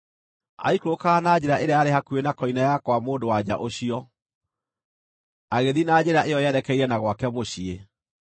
Aikũrũkaga na njĩra ĩrĩa yarĩ hakuhĩ na koine ya kwa mũndũ-wa-nja ũcio, agĩthiĩ na njĩra ĩyo yerekeire na gwake mũciĩ,